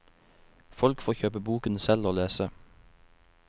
Folk får kjøpe boken selv og lese.